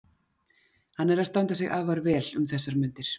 Hann er að standa sig afar vel um þessar mundir.